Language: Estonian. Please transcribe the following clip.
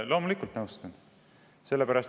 Loomulikult nõustun.